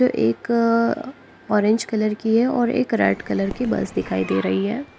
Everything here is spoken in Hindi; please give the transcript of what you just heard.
एक अ ऑरेंज कलर की है और एक रेड कलर की बस दिखाई दे रही है।